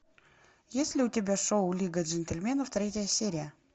есть ли у тебя шоу лига джентльменов третья серия